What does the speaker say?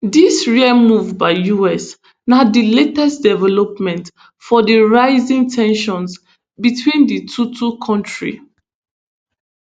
dis rare move by us na di latest development for di rising ten sions between di two two kontris